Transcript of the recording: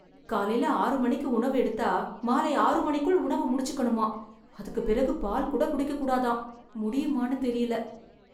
காலைல ஆறு மணிக்கு உணவு எடுத்தா மாலை ஆறு மணிக்குள் உணவு முடிச்சிக்கணுமா.அதுக்குபிறகு பால் கூட குடிக்கக்கூடாதாம், முடியுமான்னு தெரியல.